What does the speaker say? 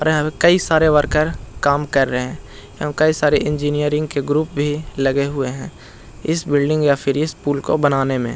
कई सारे वर्कर काम कर रहे हैं एवं कई सारे इंजीनियरिंग के ग्रुप भी लगे हुए हैं इस बिल्डिंग या फिर इस पूल को बनाने में।